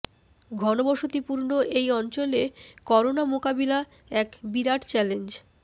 ঘনবসতি পূর্ণ এই অঞ্চলে করোনা মোকাবিলা এক বিরাট চ্যালেঞ্জ